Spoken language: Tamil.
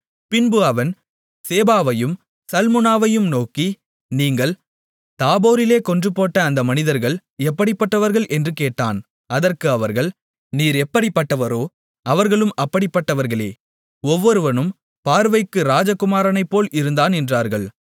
பின்பு அவன் சேபாவையும் சல்முனாவையும் நோக்கி நீங்கள் தாபோரிலே கொன்றுபோட்ட அந்த மனிதர்கள் எப்படிப்பட்டவர்கள் என்று கேட்டான் அதற்கு அவர்கள் நீர் எப்படிப்பட்டவரோ அவர்களும் அப்படிப்பட்டவர்களே ஒவ்வொருவனும் பார்வைக்கு ராஜகுமாரனைப்போல் இருந்தான் என்றார்கள்